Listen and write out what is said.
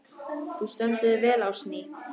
Þú stendur þig vel, Ásný!